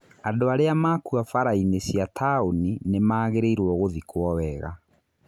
Andũ arĩa makua bara-inĩ cia taũni nĩ magĩrĩirwo gũthĩkwo wega.